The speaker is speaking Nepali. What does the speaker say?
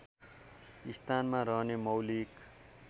स्थानमा रहने मौलिक